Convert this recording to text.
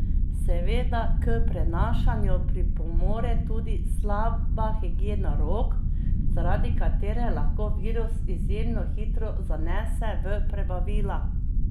Seveda k prenašanju pripomore tudi slaba higiena rok, zaradi katere lahko virus izjemno hitro zanese v prebavila.